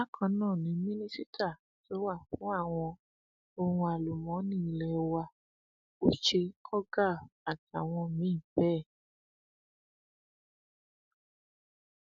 bákan náà ni mínísítà tó wà fún àwọn ohun àlùmọọnì ilé wa uche ogar àtàwọn míín bẹẹ